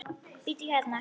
Bíddu hérna.